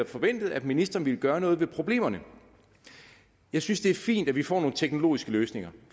forventet at ministeren ville gøre noget ved problemerne jeg synes det er fint at vi får nogle teknologiske løsninger